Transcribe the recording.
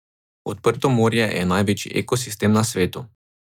Odprto morje je največji ekosistem na svetu.